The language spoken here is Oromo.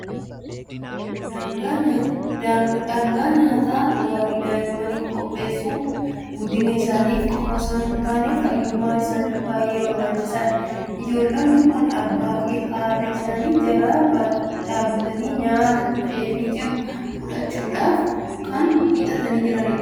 Dhangaa nyaataa gaarii daa'immaniif qopheessuun guddina isaaniif qofaa osoo hin taane, fayyummaa isaaniifis baay'ee barbaachisaadha. Ijoollonni kun abbaa fi haadha isaanii jala dhaabatanii nyaata dhufeefii jiru fudhachuuf kan hiixachaa jiranidha.